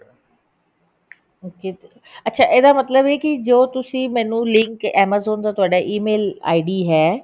okay ਅੱਛਾ ਇਹਦਾ ਮਤਲਬ ਇਹ ਕਿ ਜੋ ਤੁਸੀਂ ਮੈਨੂੰ link amazon ਦਾ ਤੁਹਾਡਾ e mail id ਹੈ